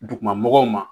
Duguma mɔgɔw ma